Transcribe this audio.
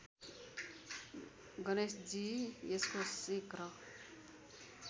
गणेशजी यसको शीघ्र